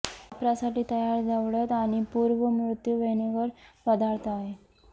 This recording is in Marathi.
वापरासाठी तयार ढवळत आणि पूर्ण मृत्यू व्हिनेगर पदार्थ आहे